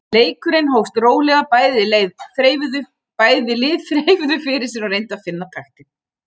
Leikurinn hófst rólega, bæði lið þreifuðu fyrir sér og reyndu að finna taktinn.